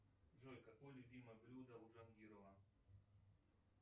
джой какое любимое блюдо у джангирова